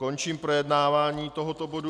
Končím projednávání tohoto bodu.